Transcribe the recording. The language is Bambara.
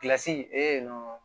Kilasi yen nɔ